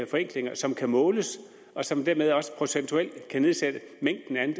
forenklinger som kan måles og som dermed også procentuelt kan nedsætte mængden af